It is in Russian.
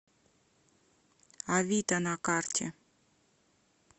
авита на карте